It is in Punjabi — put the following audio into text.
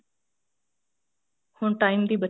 ਹੁਣ time ਦੀ ਬੱਚਤ